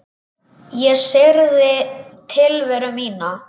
Ég syrgði tilveru mína.